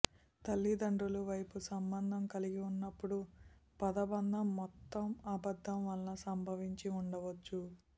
తల్లిదండ్రులు వైపు సంబంధం కలిగి ఉన్నప్పుడు పదబంధం మొత్తం అబద్ధం వల్ల సంభవించి ఉండవచ్చు